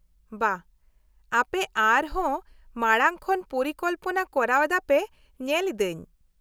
-ᱵᱟᱦ ! ᱟᱯᱮ ᱟᱨ ᱦᱚᱸ ᱢᱟᱲᱟᱝ ᱠᱷᱚᱱ ᱯᱚᱨᱤᱠᱚᱞᱯᱱᱟ ᱠᱚᱨᱟᱣ ᱮᱫᱟ ᱯᱮ ᱧᱮᱞ ᱤᱫᱟᱹᱧ ᱾